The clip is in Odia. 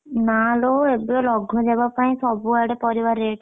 ନା ଲୋ ଏବ ଲଘୁଚାପ ପାଇଁ ସବୁଆଡେ ପରିବା rate